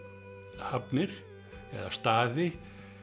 hafnir eða staði